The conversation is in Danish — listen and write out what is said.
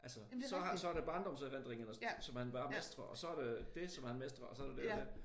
Altså så har han så er der barndomserindringerne som han bare mestrer og så er der det som han mestrer og så er der det og det